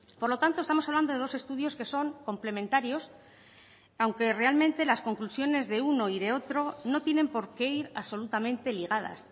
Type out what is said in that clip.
por lo tanto estamos hablando de dos estudios que son complementarios aunque realmente las conclusiones de uno y de otro no tienen por qué ir absolutamente ligadas